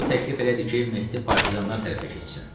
O təklif elədi ki, Mehdi partizanlar tərəfə keçsin.